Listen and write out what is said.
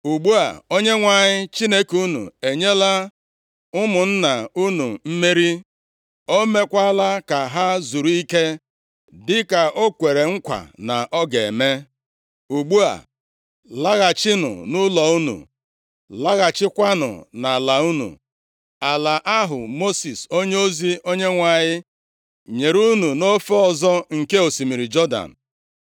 Ugbu a, Onyenwe anyị Chineke unu enyela ụmụnna unu mmeri. O meekwala ka ha zuru ike dịka o kwere nkwa na ọ ga-eme. Ugbu a, laghachinụ nʼụlọ unu, laghachikwanụ nʼala unu, ala ahụ Mosis onyeozi Onyenwe anyị nyere unu nʼofe ọzọ nke osimiri Jọdan.